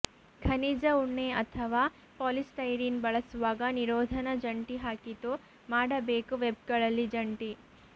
ಖನಿಜ ಉಣ್ಣೆ ಅಥವಾ ಪಾಲಿಸ್ಟೈರೀನ್ ಬಳಸುವಾಗ ನಿರೋಧನ ಜಂಟಿ ಹಾಕಿತು ಮಾಡಬೇಕು ವೆಬ್ಗಳಲ್ಲಿ ಜಂಟಿ